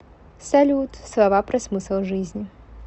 салют слова про смысл жизни